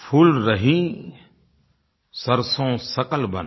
फूल रही सरसों सकल बन